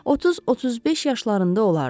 30-35 yaşlarında olardı.